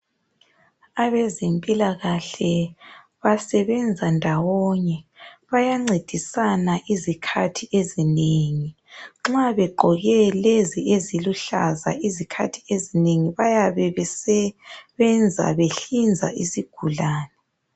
Abezempilakahle basebenza ndawonye. Bayancedisana izikhathi ezinengi. Nxa beqgoke lezi eziluhlaza izikhathi ezinengi bayabe besebenza behlinza isigulane.